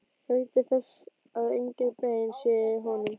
Gætið þess að engin bein séu í honum.